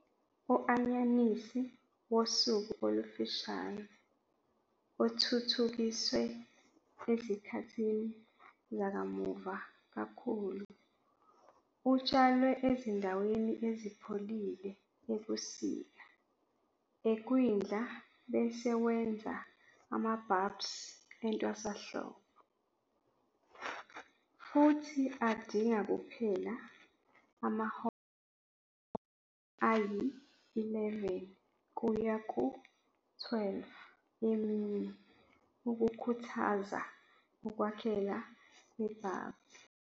U-anyanisi "wosuku olufushane", othuthukiswe ezikhathini zakamuva kakhulu, utshalwe ezindaweni ezipholile ebusika ekwindla bese wenza ama-bulbs entwasahlobo, futhi adinga kuphela amahora ayi-11 kuya ku-12 emini ukukhuthaza ukwakheka kwe-bulb.